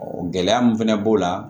gɛlɛya min fɛnɛ b'o la